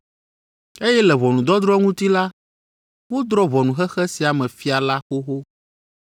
eye le ʋɔnudɔdrɔ̃ ŋuti la, wodrɔ̃ ʋɔnu xexe sia me fia la xoxo.